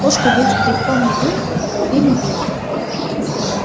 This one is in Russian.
кошку ведь древком метлы по голове не били